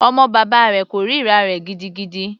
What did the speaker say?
Ọmọ bàbá rẹ̀ kòrira rẹ̀ gidigidi.